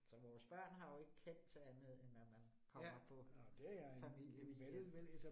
Så vores børn har jo ikke kendt til andet end at man kommer på familieweekend